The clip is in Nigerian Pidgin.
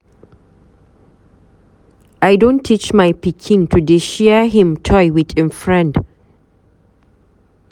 I don teach my pikin to dey share him toy wit im friend.